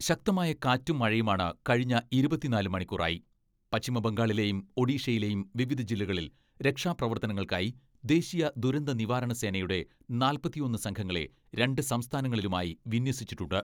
ശക്തമായ കാറ്റും മഴയുമാണ് കഴിഞ്ഞ ഇരുപത്തിനാല് മണിക്കൂറായി. പശ്ചിമ ബംഗാളിലെയും ഒഡീഷയിലെയും വിവിധ ജില്ലകളിൽ രക്ഷാ പ്രവർത്തനങ്ങൾക്കായി ദേശീയ ദുരന്ത നിവാരണ സേനയുടെ നാല്പത്തിയൊന്ന് സംഘങ്ങളെ രണ്ട് സംസ്ഥാനങ്ങളിലുമായി വിന്യസിച്ചിട്ടുണ്ട്.